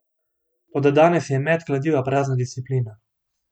Toda danes je met kladiva prazna disciplina.